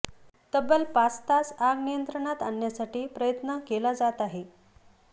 तब्बल पाच तास आग नियंत्रणात आणण्यासाठी प्रयत्न केला जात आहे